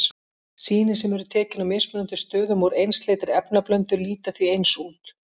Sýni sem eru tekin á mismunandi stöðum úr einsleitri efnablöndu líta því eins út.